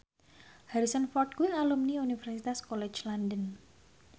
Harrison Ford kuwi alumni Universitas College London